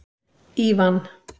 Ívan